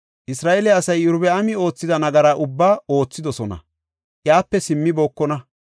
Isra7eele asay Iyorbaami oothida nagaraa ubbaa oothidosona; iyape simmibokona.